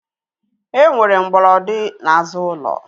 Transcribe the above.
Enwere mgbolodi n'azụ ulo